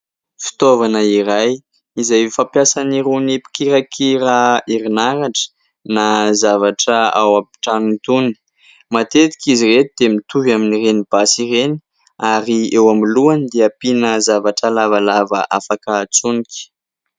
Fitaovana iray izay fampiasan'irony mpikirakira herinaratra na zavatra ao an-trano itony. Matetika izy ireny dia mitovy amin'ireny basy ireny ary eo amin'ny lohany dia ampiana zavatra lavalava afaka hatsonika.